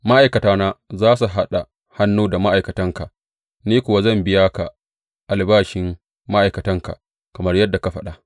Ma’aikatana za su haɗa hannu da ma’aikatanka, ni kuwa zan biya ka albashin ma’aikatanka kamar yadda ka faɗa.